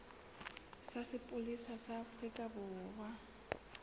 sa sepolesa sa afrika borwa